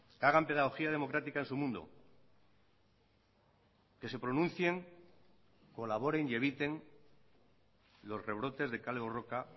que hagan pedagogía democrática en su mundo que se pronuncien colaboren y eviten los rebrotes de kale borroka